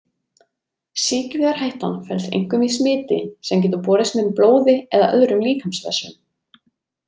Sýkingarhættan felst einkum í smiti sem getur borist með blóði eða öðrum líkamsvessum.